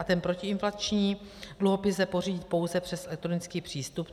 A ten protiinflační dluhopis lze pořídit pouze přes elektronický přístup.